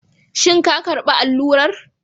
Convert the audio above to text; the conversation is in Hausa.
Shin ka karba allurar?